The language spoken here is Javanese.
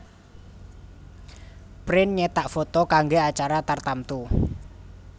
Print nyétak foto kanggé acara tartamtu